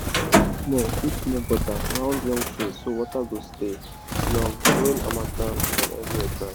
dig small dig small gutter round young trees so water go stay long during harmattan when everywhere dry.